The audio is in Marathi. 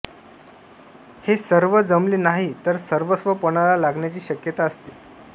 हे सर्व जमले नाही तर सर्वस्व पणाला लागण्याची शक्यता असते